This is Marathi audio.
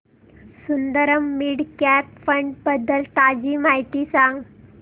सुंदरम मिड कॅप फंड बद्दल ताजी माहिती सांग